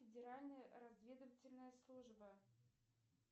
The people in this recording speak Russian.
федеральная разведывательная служба